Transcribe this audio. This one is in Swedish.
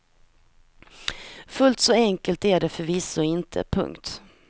Fullt så enkelt är det förvisso inte. punkt